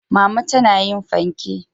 mama tana yin fanke.